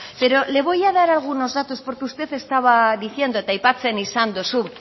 pero le voy a dar algunos datos porque usted estaba diciendo eta aipatzen dozu